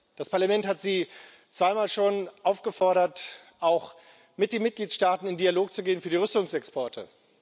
Das Parlament hat Sie schon zweimal aufgefordert, auch mit den Mitgliedstaaten in Dialog zu gehen über die Rüstungsexporte.